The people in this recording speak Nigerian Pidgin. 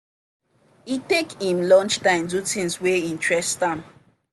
e take him lunch time do things wey interest am.